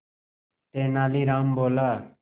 तेनालीराम बोला